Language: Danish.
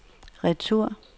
retur